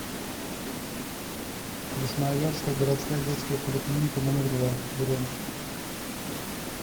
красноярская городская детская поликлиника номер два бронь